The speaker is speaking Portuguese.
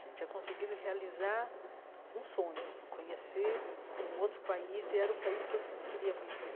Tinha conseguido realizar um sonho, conhecer um outro país, e era o país que eu queria conhecer.